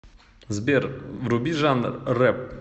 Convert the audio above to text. сбер вруби жанр реп